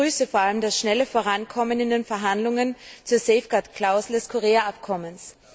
Ich begrüße vor allem das schnelle Vorankommen in den Verhandlungen zur Safeguard Klausel des Korea Abkommens.